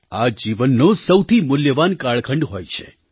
આ જીવનનો સૌથી મૂલ્યવાન કાળખંડ હોય છે